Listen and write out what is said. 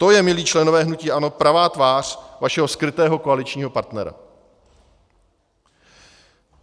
To je, milí členové hnutí ANO, pravá tvář vašeho skrytého koaličního partnera.